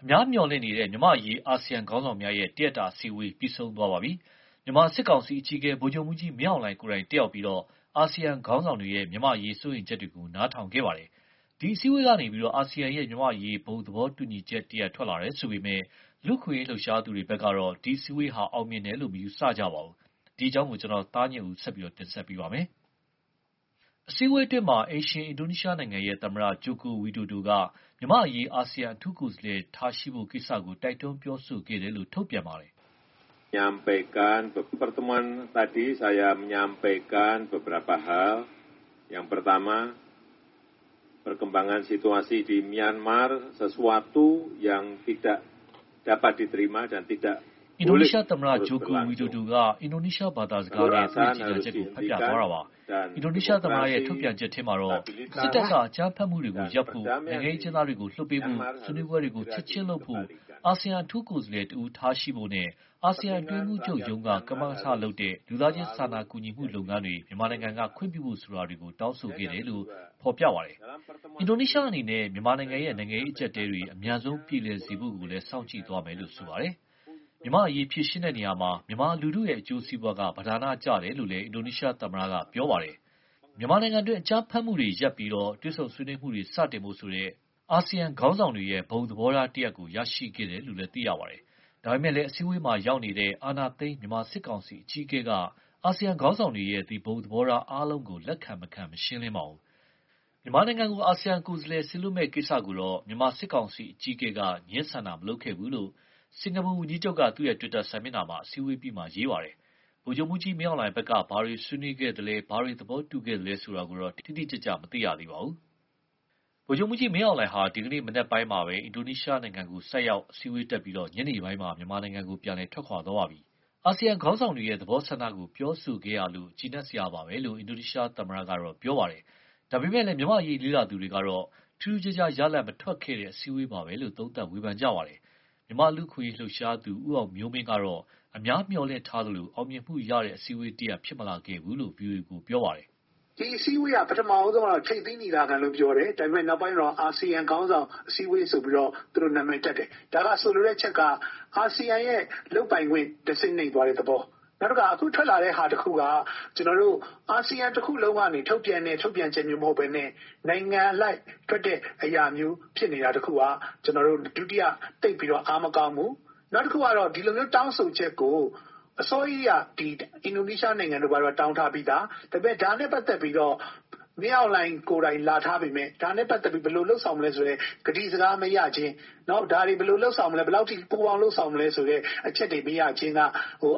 အများမျှော်လင့်နေတဲ့ မြန်မာ့အရေး အာဆီယံခေါင်းဆောင်များ အစည်းအဝေး ပြီးဆုံးသွားပါပြီ။ မြန်မာစစ်ကောင်စီ အကြီးအကဲ ဗိုလ်ချုပ်မှူးကြီး မင်းအောင်လှိုင် ကိုယ်တိုင် တက်ရောက်ပြီး အာဆီယံခေါင်းဆောင်တွေရဲ့ မြန်မာ့အရေး စိုးရိမ်ချက်တွေကို နားထောင်ခဲ့ပါတယ်။ ဒီအစည်းအဝေးကနေ အာဆီယံရဲ့ မြန်မာ့အရေး ဘုံသဘောတူညီချက်မှုတရပ် ထွက်လာတယ် ဆိုပေမယ့် လူ့အခွင့်အရေး လှုပ်ရှားသူတွေကတော့ ဒီအစည်းအဝေးဟာ အောင်မြင်တယ်လို့ မယူဆပါဘူး။ အပြည့်အစုံကို ကိုသားညွန့်ဦး တင်ဆက်ပေးထားပါတယ်။ အစည်းအဝေးအတွင်း အိမ်ရှင် အင်ဒိုနီးရှားနိုင်ငံရဲ့ သမ္မတ Joko Widodo က မြန်မာ့အရေး အာဆီယံ အထူးကိုယ်စားလှယ် ထားရှိဖို့ကိစ္စကို တိုက်တွန်းပြောဆိုခဲ့တယ်လို့ ထုတ်ပြန်ပါတယ်။ အင်ဒိုနီးရှားသမ္မတ Joko Widodo က အင်ဒိုနီးရှားဘာသာစကားနဲ့ သူ့ကြေညာချက်ကို ဖတ်ပြခဲ့တာပါ။ အင်ဒိုနီးရှားသမ္မတရဲ့ ထုတ်ပြန်ချက်ထဲမှာတော့ စစ်တပ်က အကြမ်းဖက်မှုတွေကို ရပ်ဖို့၊ နိုင်ငံရေးအကျဉ်းသားတွေ လွှတ်ပေးဖို့၊ ဆွေးနွေးပွဲတွေ ချက်ချင်းလုပ်ဖို့၊ အာဆီယံ အထူးကိုယ်စားလှယ်တဦး ထားရှိဖို့နဲ့ အာဆီယံ အတွင်းရေးမှူးချုပ်ရုံးက ကမကထလုပ်တဲ့ လူသားချင်း စာနာကူညီမှု လုပ်ငန်းတွေ မြန်မာနိုင်ငံက ခွင့်ပြုဖို့ ဆိုတာတွေကို တောင်းဆိုခဲ့တယ်လို့ ဖော်ပြပါတယ်။ အင်ဒိုနီးရှားအနေနဲ့ မြန်မာနိုင်ငံရဲ့ နိုင်ငံရေးအကျပ်အတည်းတွေ အမြန်ဆုံး ပြေလည်စေဖို့ စောင့်ကြည့်သွားမယ်လို့ ဆိုပါတယ်။ မြန်မာ့အရေး ဖြေရှင်းတဲ့နေရာမှာ မြန်မာလူထု အကျိုးစီးပွားက ပဓာနကျတယ်လို့လည်း အင်ဒိုနီးရှားသမ္မတက ပြောခဲ့ပါတယ်။ မြန်မာနိုင်ငံတွင်း အကြမ်းဖက်မှုတွေကို ရပ်ပြီး တွေ့ဆုံဆွေးနွေးမှုတွေ စတင်ဖို့ဆိုတဲ့ အာဆီယံ ခေါင်းဆောင်တွေရဲ့ ဘုံသဘောထားတရပ် ရခဲ့တယ်လို့ သိရပါတယ်။ ဒါပေမယ့်လည်း အစည်းအဝေးမှာ ရောက်နေတဲ့ အာဏာသိမ်း မြန်မာစစ်ကောင်စီ အကြီးအကဲက အာဆီယံ ခေါင်းဆောင်တွေရဲ့ ဘုံသဘောထားအားလုံးကို လက်ခံမခံ မရှင်းလင်းပါဘူး။ မြန်မာနိုင်ငံကို အာဆီယံ ကိုယ်စားလှယ် စေလွှတ်မယ့်ကိစ္စကို မြန်မာစစ်ကောင်စီ အကြီးအကဲက ငြင်းဆန်တာ မလုပ်ခဲ့ဘူးလို့ စင်ကာပူဝန်ကြီးချုပ်က သူ့တွစ်တာစာမျက်နှာမှာ အစည်းအဝေးအပြီး ရေးပါတယ်။ ဗိုလ်ချုပ်မှူးကြီး မင်းအောင်လှိုင်ဘက်က ဘာတွေ ဆွေးနွေးခဲ့သလဲ၊ ဘာတွေ သဘောတူခဲ့သလဲ ဆိုတာတွေကိုတော့ တိတိကျကျ မသိရသေးပါဘူး။ ဗိုလ်ချုပ်မှူးကြီး မင်းအောင်လှိုင်ဟာ ဒီကနေ့မနက်ပဲ အင်ဒိုနီးရှားနိုင်ငံကို ဆိုက်ရောက် အစည်းအဝေးတက်ပြီးတော့ ညနေပိုင်းမှာ မြန်မာနိုင်ငံကို ပြန်ထွက်ခွာသွားပါပြီ။ အာဆီယံခေါင်းဆောင်တွေရဲ့ သဘောဆန္ဒကို ပြောဆိုခဲ့ရလို့ ကျေနပ်စရာပါပဲလို့ အင်ဒိုနီးရှားသမ္မတကတော့ ပြောပါတယ်။ ဒါပေမယ့် မြန်မာ့အရေး လေ့လာသူတွေကတော့ ထူးထူးခြားခြား ရလဒ်မထွက်ခဲ့တဲ့ အစည်းအဝေးပါပဲလို့ သုံးသပ်ဝေဖန်ပါတယ်။ မြန်မာ့လူ့အခွင့်အရေးလှုပ်ရှားသူ ဦးအောင်မျိုးမင်းကတော့ အများမျှော်လင့်ထားသလို အောင်မြင်မှုရတဲ့ အစည်းအဝေးတရပ် ဖြစ်မလာခဲ့ဘူးလို့ ဗွီှိအိုအေကို ပြောပါတယ်။ “ဒီအစည်းအဝေးက ပထမဦးဆုံးကတော့ ထိပ်သီးညီလာခံလို့ ပြောတယ်။ ဒါပေမယ့် နောက်ပိုင်းတော့ အာဆီယံခေါင်းဆောင် အစည်းအဝေး ဆိုပြီးတော့ သူတို့ နာမည်တပ်တယ်။ ဒါဟာ ဆိုလိုတဲ့အချက်က အာဆီယံရဲ့ လုပ်ပိုင်ခွင့် တဆင့်နိမ့်သွားတဲ့သဘော။ နောက်တခါ အခုထွက်လာတဲ့ဟာတခုက အာဆီယံ တခုလုံးက ထုတ်ပြန်တဲ့ ထုတ်ပြန်ချက်မျိုး မဟုတ်ဘဲနဲ့ နိုင်ငံအလိုက် ထွက်တဲ့အရာမျိုး ဖြစ်နေတာတခုက ဒုတိယ သိပ်ပြီးတော့ အားမကောင်းဘူး။ နောက်တခုကတော့ ဒီလိုမျိုး တောင်းဆိုချက်ကို အစောကြီးတည်းက အင်ဒိုနီးရှားနိုင်ငံတို့ ဘာတို့က တောင်းထားပြီးသား။ ဒါနဲ့ပတ်သက်ပြီး မင်းအောင်လှိုင်ကိုယ်တိုင် လာထားပေမယ့် ဒါနဲ့ပတ်သက်ပြီး ဘယ်လိုလုပ်ဆောင်မလဲ ဆိုတဲ့ ကတိစကား မရခြင်း၊ ဒါတွေ ဘယ်လိုလုပ်ဆောင်မလဲ၊ ဘယ်လောက်အထိ ပူးပေါင်းလုပ်ဆောင်မလဲ ဆိုတဲ့ အချက်တွေ မရခြင်းက